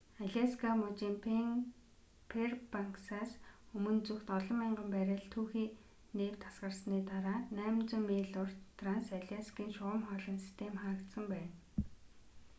аляска мужийн фэйрбанксаас өмнө зүгт олон мянган баррель түүхий нефть асгарсны дараа 800 миль урт транс аляскийн шугам хоолойн систем хаагдсан байна